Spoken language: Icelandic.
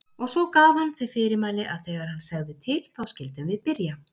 Og svo gaf hann þau fyrirmæli að þegar hann segði til þá skyldum við byrja.